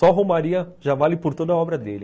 Só romaria já vale por toda a obra dele.